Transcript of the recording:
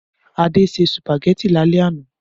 Adé se sùpàgẹ́tì lálẹ́ àná.